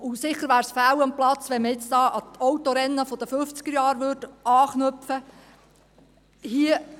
Sicher wäre es fehl am Platz, wenn man nun hier an die Autorennen der 1950er-Jahre anknüpfen würde.